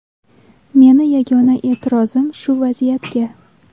Meni yagona e’tirozim shu vaziyatga.